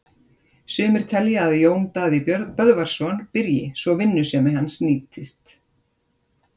Sumir telja að Jón Daði Böðvarsson byrji svo vinnusemi hans sé nýtt.